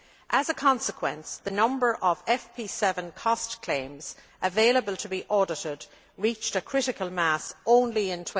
As a consequence, the number of FP 7 cost claims available to be audited reached critical mass only in